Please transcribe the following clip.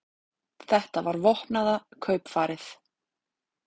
Þetta var vopnaða kaupfarið